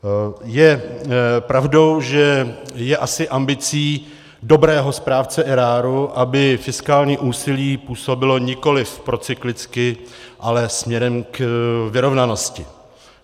Je pravdou, že je asi ambicí dobrého správce eráru, aby fiskální úsilí působilo nikoliv procyklicky, ale směrem k vyrovnanosti.